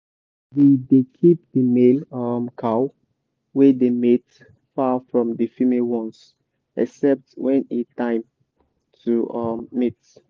we dey keep the male um cow wey dey mate far from the female ones except when e time to um mate.